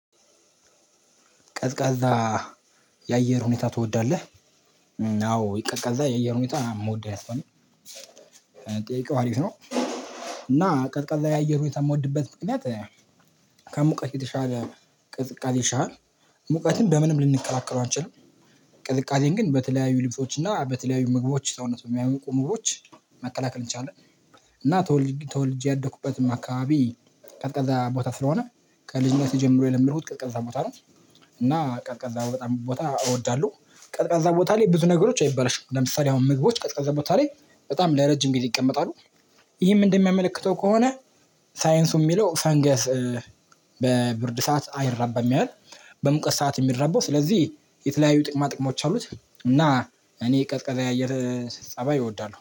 ቀዝቃዛ የአየር ሁኔታ ትወዳለህ? አዎ ቀዝቃዛ የአየር ሁኔታ የምወደው አይነት ሰው ነኝ ጥያቄው አሪፍ ነው። እና ቀዝቃዛ የአየር ሁኔታ የምወድበት ምክንያት ከሙቀት የተሻለ ቅዝቃዜ ይሻላል ሙቀትን በምንም ልንከላከለው አንችልም ቅዝቃዜን ግን በተለያዩ ልብሶች እና በተለያዩ ምግቦች ሰውነት በሚያሞቁ ምግቦች መከላከል እንችላለን። እና ተወልጄ ያደኩበትም አካባቢ ቀዝቃዛ ቦታ ስለሆነ ከልጅነቴ ጀምሮ የለመድኩት ቀዝቃዛ ቦታ ነው። እና ቀዝቃዛ በጣም ቦታ እወዳለሁ። ቀዝቃዛ ቦታ ላይ ብዙ ነገሮች አይበላሹም ለምሳሌ አሁን ምግቦች ቀዝቃዛ ቦታ ላይ በጣም ለረጅም ጊዜ ይቀመጣሉ። ይህም እንደሚያመለክተው ከሆነ ሳይንሱ የሚለው ፈንገስ በብርድ ሰዓት አይራባም ይላል። በሙቀት ሰዓት የሚራባው ስለዚህ የተለያዩ ጥቅማ ጥቅሞች አሉት እና እኔ ቀዝቃዛ የአየር ፀባይ እወዳለሁ